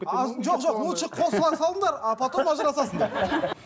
жоқ жоқ лучше қосыла салыңдар а потом ажырасасыңдар